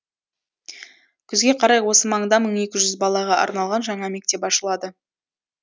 күзге қарай осы маңда мың екі жүз балаға арналған жаңа мектеп ашылады